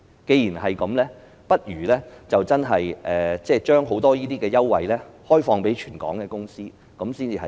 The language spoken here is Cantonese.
既然如此，不如把許多優惠開放予全港的公司，較為合理。